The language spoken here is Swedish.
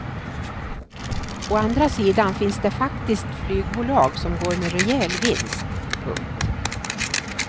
Å andra sidan finns det faktiskt flygbolag som går med rejäl vinst. punkt